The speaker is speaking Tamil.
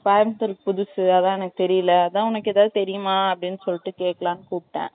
Coimbatore க்கு புதுசு அதான் எனக்கு தெரியல அதான் உனக்கு எத்தனா தெரியுமா அப்படி சொல்லிட்டு கேக்கலாம் கூப்பிட்டன்